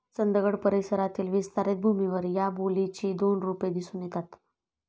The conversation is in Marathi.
चंदगड परिसरातील विस्तरित भूमीवर या बोलीची दोन रूपे दिसून येतात.